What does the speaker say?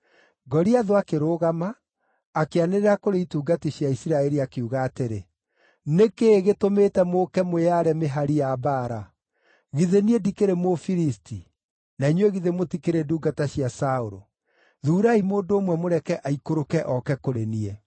Goliathũ akĩrũgama, akĩanĩrĩra kũrĩ itungati cia Isiraeli, akiuga atĩrĩ, “Nĩ kĩĩ gĩtũmĩte mũũke mwĩyaare mĩhari ya mbaara? Githĩ niĩ ndikĩrĩ Mũfilisti, na inyuĩ githĩ mũtikĩrĩ ndungata cia Saũlũ? Thuurai mũndũ ũmwe mũreke aikũrũke oke kũrĩ niĩ.